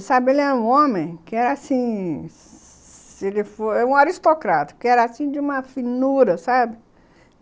Ele era um homem que era assim, se ele for... um aristocrata, que era de uma finura, sabe...